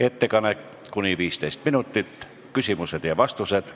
ettekanne , siis on küsimused ja vastused .